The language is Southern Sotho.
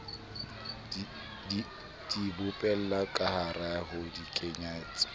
di bopella kahare ho ditekanyetso